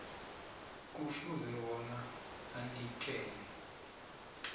kufuze bona anikele